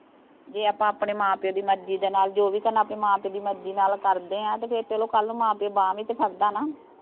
ਜੇ ਆਪਾਂ ਆਪਣੇ ਮਾਂ-ਪਿਓ ਦੀ ਮਰਜ਼ੀ ਦੇ ਨਾਲ, ਆਪਾਂ ਜੋ ਵੀ ਕਰਨਾ ਆਪਣੇ ਮਾਂ-ਪਿਓ ਦੀ ਮਰਜ਼ੀ ਦੇ ਨਾਲ ਕਰਦੇ ਆਂ, ਤੇ ਫੇਰ ਚਲੋ ਕੱਲ ਨੂੰ ਮਾਂ-ਪਿਓ ਬਾਂਹ ਵੀ ਤੇ ਫੜ੍ਹਦਾ ਨਾ।